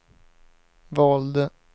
valde